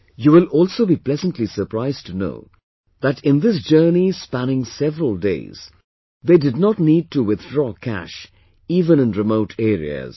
You will also be pleasantly surprised to know that in this journey of spanning several days, they did not need to withdraw cash even in remote areas